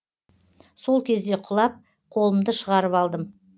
сол кезде құлап қолымды шығарып алдым